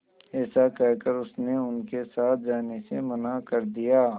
ऐसा कहकर उसने उनके साथ जाने से मना कर दिया